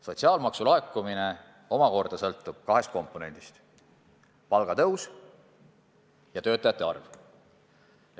Sotsiaalmaksu laekumine omakorda sõltub kahest komponendist, milleks on palgatõus ja töötajate arv.